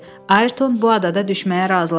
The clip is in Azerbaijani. Ayrton bu adada düşməyə razılaşdı.